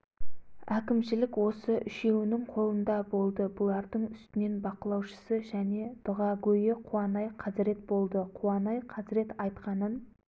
әкімшілік осы үшеуінің қолында болды бұлардың үстінен бақылаушысы және дұғагөйі қуанай қазірет болды қуанай қазірет айтқанын